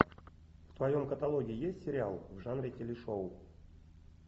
в твоем каталоге есть сериал в жанре телешоу